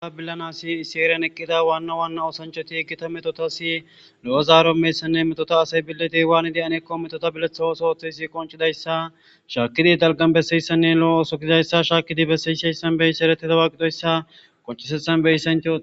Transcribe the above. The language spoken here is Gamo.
Ha billanasi iseerian eqqida waanna waana oosanchoti iggita metotasi lo'o zaaro meessanne metota asay billete waani de aneekko metota biletha ooso ooththesi qoncidayssa shaakidi dalgan bessayissanne lo'o oosokizayssa shaakidi bessayishay sanbeyisi ereteta waaqidoyssa qoncisethan beyisant